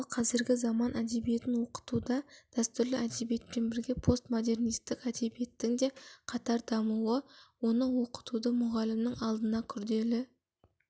ал қазіргі заман әдебиетін оқытуда дәстүрлі әдебиетпен бірге постмодернисттік әдебиеттің де қатар дамуы оны оқытуды мұғалімнің алдына күрделі